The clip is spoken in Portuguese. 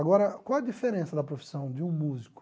Agora, qual a diferença da profissão de um músico?